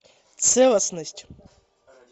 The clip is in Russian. целостность